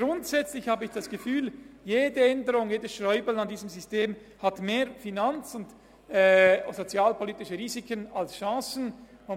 Grundsätzlich finde ich, dass jede Änderung an diesem System mehr finanz- und sozialpolitische Risiken als Chancen hat.